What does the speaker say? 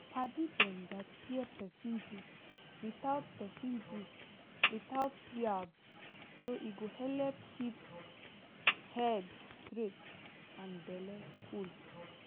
padi dem gatz hear person gist without person gist without yab so e go helep keep head straight and belle cool